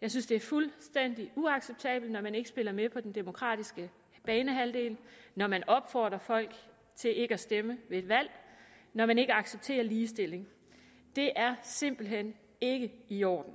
jeg synes det er fuldstændig uacceptabelt når man ikke spiller med på den demokratiske banehalvdel når man opfordrer folk til ikke at stemme ved et valg og når man ikke accepterer ligestilling det er simpelt hen ikke i orden